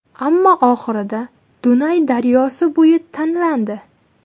Ammo oxirida Dunay daryosi bo‘yi tanlandi.